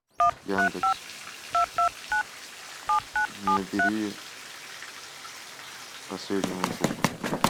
яндекс набери последнему другу